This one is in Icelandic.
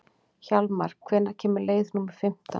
Hjálmar, hvenær kemur leið númer fimmtán?